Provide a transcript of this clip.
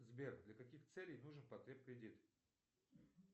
сбер для каких целей нужен потреб кредит